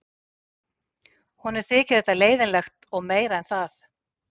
Honum þyki þetta leiðinlegt og meira en það.